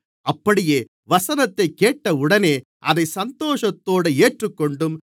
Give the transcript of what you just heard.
அப்படியே வசனத்தைக் கேட்டவுடனே அதைச் சந்தோஷத்தோடு ஏற்றுக்கொண்டும்